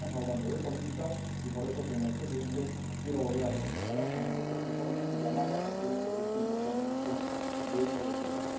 Estamos hablando de política y, por eso, señor presidente, quiero volver a felicitar al ponente por el informe y llamar la atención sobre este importante hecho de su trabajo.